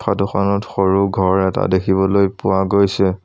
Photo খনত সৰু ঘৰ এটা দেখিবলৈ পোৱা গৈছে।